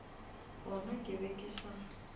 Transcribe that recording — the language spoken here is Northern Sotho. gona ke be ke sa